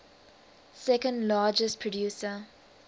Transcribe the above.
second largest producer